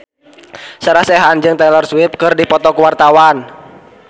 Sarah Sechan jeung Taylor Swift keur dipoto ku wartawan